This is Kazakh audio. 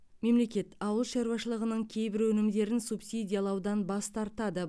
мемлекет ауыл шаруашылығының кейбір өнімдерін субсидиялаудан бас тартады